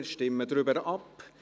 Wir stimmen darüber ab.